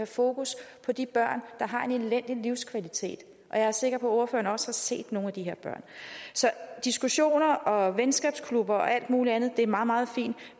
fokus på de børn der har en elendig livskvalitet jeg er sikker på at ordføreren set nogle af de her børn så diskussioner og venskabsklubber og alt muligt andet er meget meget fint